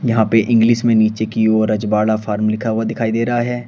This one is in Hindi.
यहां पे इंग्लिश में नीचे की ओर रजवाड़ा फॉर्म लिखा दिखाई दे रहा है।